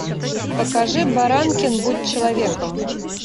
покажи баранкин будь человеком